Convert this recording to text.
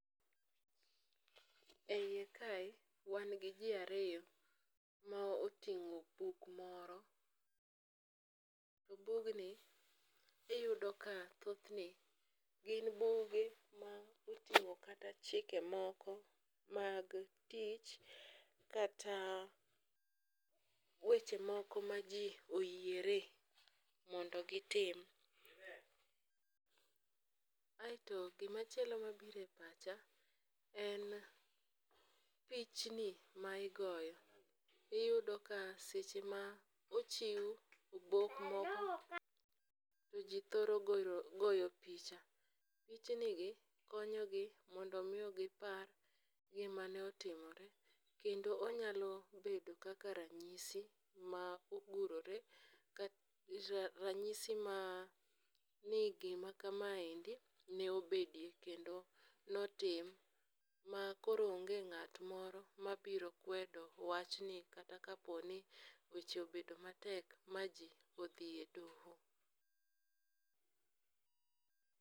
E iye kae, wan gi ji ariyo ma oting'o buk moro. Bugni iyudo ka thothne gin buge ma oting'o kata chike moko mag tich kata weche moko ma ji oyiere mondo gitim. Aeto gimachielo mabiro e pacha, en pichni ma igoyo . Iyudo ka seche ma ochiw obok moko, to ji thoro goyo picha . Pichnigi konyogi mondo omi gipar gima ne otimore, kendo onyalo bedo kaka ranyisi ma ogurore. Ranyis ma ni gima kamaendi ne obedoe kendo notim makoro onge ng'at moro mabiro kwedo wachni kata kapo ni weche obedo matek ma ji odhiye doho.